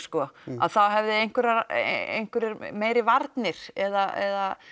þá hefðu einhverjar einhverjar meiri varnir eða